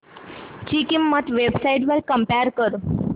ची किंमत websites वर कम्पेअर कर